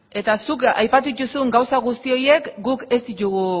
eta zuk aipatu dituzun gauza guzti horiek guk ez ditugu